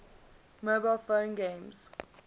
mobile phone games